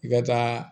I ka taa